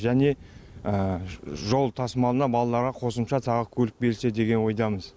және жол тасымалына балаларға қосымша тағы көлік берсе деген ойдамыз